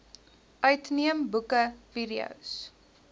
uitneem boeke videos